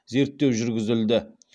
зерттеу жүргізілді